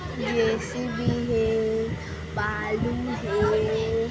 जे. C. B. हे बालू हे।